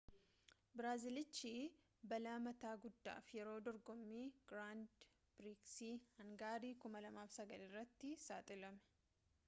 biraazilichi balaa mataa guddaaf yeroo dorgoommii giraand piriksii hangarii 2009 irratti saaxilame